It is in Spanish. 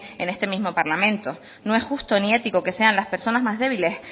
en este mismo parlamento no es justo ni ético que sean las personas más débiles